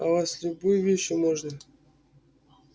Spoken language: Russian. аа с любой вещью можно